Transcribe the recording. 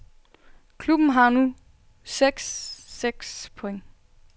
Klubben har nu seks seks point.